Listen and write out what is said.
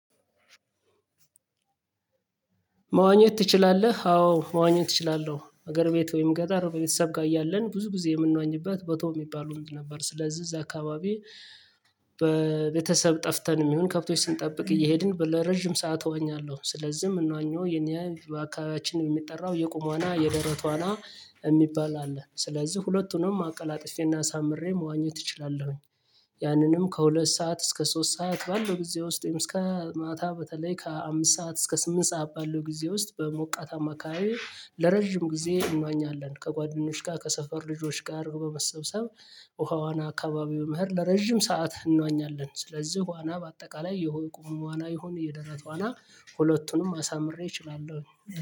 መዋኘት ትችላለ? አዎ መዋኘት ትችላለህ ሀገር ቤት ወይም ገጠር ቤተሰብ ጋር እያለን ብዙ ጊዜ የምንዋኝበት በቶ የሚባለው ወንዝ ነበር ስለዚህ እዛ አካባቢ በቤተሰብ ጠፍተን የሚሆን ከብቶች ስንጠብቅ እየሄድን በለረጅም ሰዓት እዋኛለሁ ስለዚህም የምንዋኘው የኔ አካባቢያችንን የሚጠራው የቁም ዋና የደረት ዋና የሚባል አለ ስለዚህ ሁለቱንም አቀላጥፌና አሳምሬ መዋኘት እችላለሁኝ፤ ያንንም ከሁለት ሰዓት እስከ ሶስት ሰዓት ባለው ብዙ ውስጥም እስከ ማታ በተለይ ከአምስት ሰዓት እስከ ስምንት ሰዓት ባለው ጊዜ ውስጥ በሞቃታማ አካባቢ ለረጅም ጊዜ እንዋኛለን ከጓደኞች ጋር ከሰፈር ልጆች ጋር በመሰብሰብ ውሃ ዋና አካባቢው በመሄድ ለረጅም ሰዓት እንዋኛለን ስለዚህ ዋና በአጠቃላይ የቁም ዋና ይሁን የደረት ዋና ሁለቱንም አሳምሬ እችላለሁ።